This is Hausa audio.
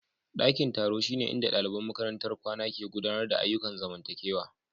Ɗakin taro shine inda ɗaliban makarantar kwana ke gudanar da ayyukan zamantakewa.